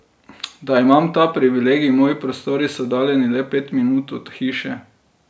Da, imam ta privilegij, moji prostori so oddaljeni le pet minut od hiše.